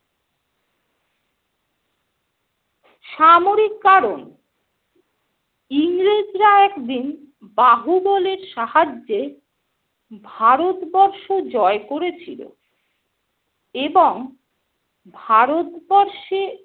সামরিক কারণ - ইংরেজরা একদিন বাহুবলের সাহায্যে ভারত বর্ষ জয় করেছিল এবং ভারতবর্ষে